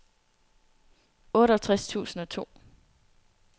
otteogtres tusind og to